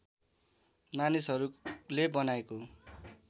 मानिसहरूले बनाएको